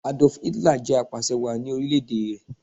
Adolf Hitler jẹ̀ apàsẹ wàá ni orílẹ̀ èdè rẹ̀